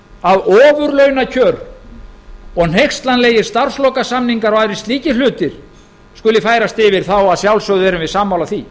að ofurlaunakjör og hneykslanlegir starfslokasamningar og aðrir slíkir hlutir skuli færast yfir erum við að sjálfsögðu sammála því